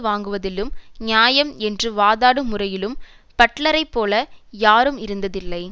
வாங்குவதிலும் நியாயம் என்று வாதாடும் முறையிலும் பட்லரைப்போல யாரும் இருந்ததில்லை